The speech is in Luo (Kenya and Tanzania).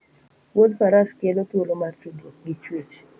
Wuoth faras kele thuolo mar tudruok gi chwech